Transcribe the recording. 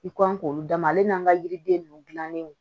I kɔn k'olu d'a ma ale n'an ka yiriden ninnu dilannen don